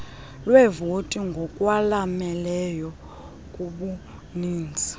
leevoti ngokwalameneyo kubuninzi